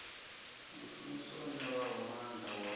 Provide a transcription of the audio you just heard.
mushumi o ṋewaho maanḓa wa